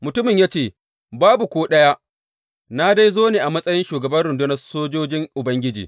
Mutumin ya ce, Babu ko ɗaya, na dai zo ne a matsayin shugaban rundunar sojojin Ubangiji.